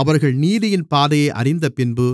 அவர்கள் நீதியின் பாதையை அறிந்தபின்பு